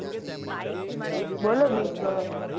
બોલો બીજું હવે